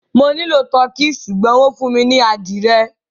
Mo nilọ Tọ̀kì ṣùgbọ̀n wọn fún mi ni adìẹ